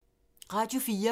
Radio 4